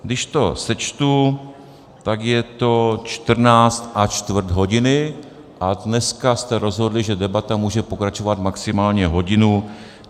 Když to sečtu, tak je to čtrnáct a čtvrt hodiny, a dneska jste rozhodli, že debata může pokračovat maximálně hodinu.